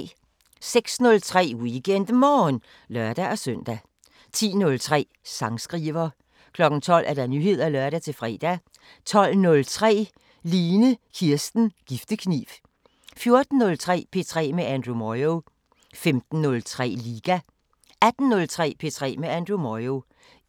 06:03: WeekendMorgen (lør-søn) 10:03: Sangskriver 12:00: Nyheder (lør-fre) 12:03: Line Kirsten Giftekniv 14:03: P3 med Andrew Moyo 15:03: Liga 18:03: P3 med Andrew Moyo